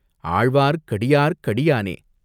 "ஆழ்வார்க்கடியார்க் கடியானே!